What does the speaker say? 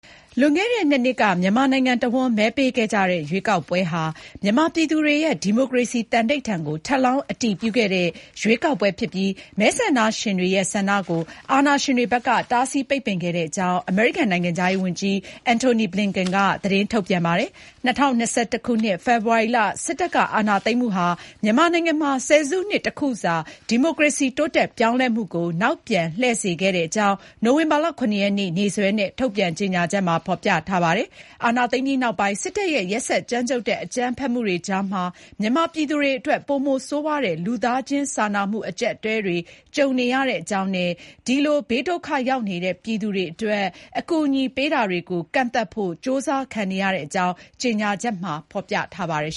လွန်ခဲ့တဲ့ ၂ နှစ်က မြန်မာနိုင်ငံတဝှမ်း မဲပေးခဲ့ကြတဲ့ ရွေးကောက်ပွဲဟာ မြန်မာပြည်သူတွေရဲ့ ဒီမိုကရေစီ သန္ဓိဋ္ဌာန်ကို ထပ်လောင်းအတည်ပြုခဲ့တဲ့ ရွေးကောက်ပွဲဖြစ်ပြီး မဲဆန္ဒရှင်တွေရဲ့ ဆန္ဒကို အာဏာရှင်တွေဘက်က တားဆီးပိတ်ပင်ခဲ့တဲ့အကြောင်း အမေရိကန် နိုင်ငံခြားရေးဝန်ကြီး Antony Blinken က သတင်းထုတ်ပြန်ပါတယ်။ ၂၀၂၁ ခုနှစ် ဖေဖေါ်ဝါရီလ စစ်တပ်က အာဏာသိမ်းမှုဟာ မြန်မာနိုင်ငံမှာ ဆယ်စုနှစ် တစ်ခုစာ ဒီမိုကရေစီ တိုးတက်ပြောင်းလဲမှုကို နောက်ပြန်လှည့်စေခဲတဲ့အကြောင်း နိုဝင်ဘာလ ၇ ရက်နေ့ နေ့စွဲနဲ့ ထုတ်ပြန်တဲ့ ကြေညာချက်မှာ ဖေါ်ပြထားပါတယ်။ အာဏာသိမ်းပြီးနောက်ပိုင်း စစ်တပ်ရဲ့ ရက်စက်ကြမ်းကြုတ်တဲ့ အကြမ်းဖက်မှုတွေကြားမှာ မြန်မာပြည်သူတွေအတွက်လည်း ပိုမိုဆိုးဝါးတဲ့ လူသားချင်းစာနာမှု အကြပ်အတည်းတွေ ကြုံနေရတဲ့အကြောင်းနဲ့ ဒီလို ဘေးဒုက္ခရောက်နေတဲ့ ပြည်သူတွေအတွက် အကူအညီပေးတာတွေကို ကန့်သတ်ဖို့ ကြိုးစားခံနေရတဲ့အကြောင်း ကြေညာချက်မှာ ဖေါ်ပြထားပါတယ်